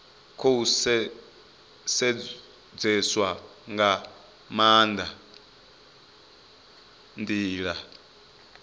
khou sedzeswa nga maanda ndila